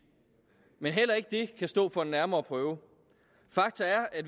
men heller ikke det kan stå for en nærmere prøve fakta er at